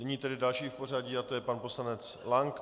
Nyní tedy další v pořadí, a to je pan poslanec Lank.